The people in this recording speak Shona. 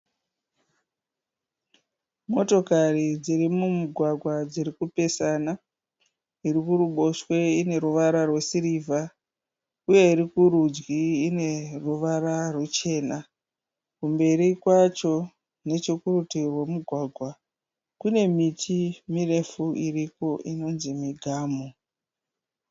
Motokari dziri mumugwagwa dzirikupesana. Iri kuruboshwe ine ruvara rwe sirivha uye iri kurudyi ine ruvara ruchena. Kumberi kwacho neche kurutivi rwe mugwagwa kune miti mirefu iriko inonzi migamu.